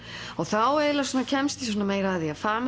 og þá eiginlega svona kemst ég svona meira að því að